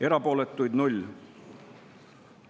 Erapooletuid 0.